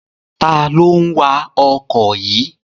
Ta ló ń wa ọkọ̀ yìí?